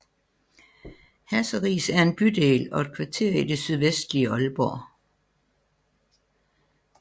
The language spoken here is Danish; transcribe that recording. Hasseris er en bydel og et kvarter i det sydvestlige Aalborg